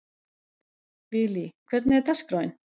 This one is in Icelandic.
Vili, hvernig er dagskráin?